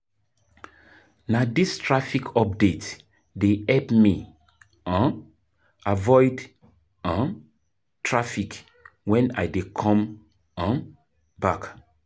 Na dis traffic update dey help me um avoid um traffic wen I dey come back.